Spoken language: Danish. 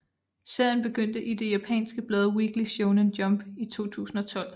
Serien begyndte i det japanske blad Weekly Shonen Jump i 2012